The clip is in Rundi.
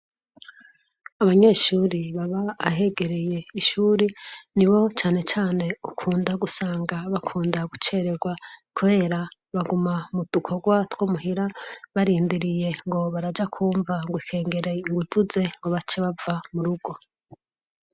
Abanyeshure baba ahegereye ishuri ni bo cane cane ukunda gusanga bakunda gucererwa kubera baguma mu dukorwa two muhira barindiriye ngo baraja kwumva ngo ikengera ivuze ngo bace bava mu rugo.